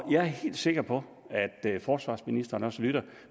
jeg er helt sikker på at forsvarsministeren også lytter